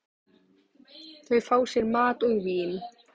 Þau fá sér mat og vín.